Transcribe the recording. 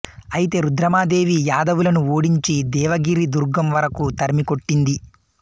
అయితే రుద్రమదేవి యాదవులను ఓడించి దేవగిరి దుర్గం వరకూ తరిమి కొట్టింది